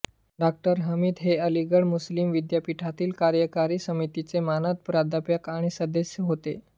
डॉ हामिद हे अलीगढ मुस्लिम विद्यापीठातील कार्यकारी समितीचे मानद प्राध्यापक आणि सदस्य होते